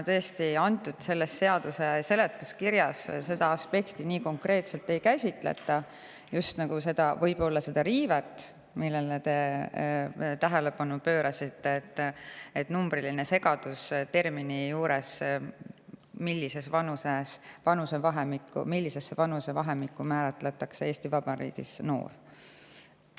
Tõesti, seadus seletuskirjas seda aspekti nii konkreetselt ei käsitleta – just seda riivet, millele te tähelepanu pöörasite, et on numbriline segadus, millisesse vanusevahemikku määratletakse Eesti Vabariigis noor.